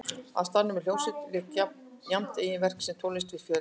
Á staðnum var hljómsveit og lék jafnt eigin verk sem tónlist við fjöldasöng.